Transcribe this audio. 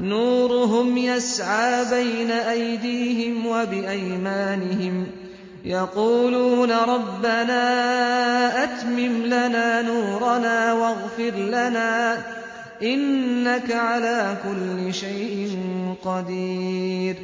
نُورُهُمْ يَسْعَىٰ بَيْنَ أَيْدِيهِمْ وَبِأَيْمَانِهِمْ يَقُولُونَ رَبَّنَا أَتْمِمْ لَنَا نُورَنَا وَاغْفِرْ لَنَا ۖ إِنَّكَ عَلَىٰ كُلِّ شَيْءٍ قَدِيرٌ